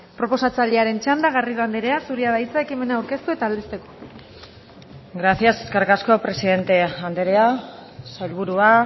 proposatzailearen txanda garrido andrea zurea da hitza ekimena aurkeztu eta aldezteko gracias eskerrik asko presidente andrea sailburua